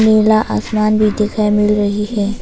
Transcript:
नीला आसमान भी दिखाई मिल रही है।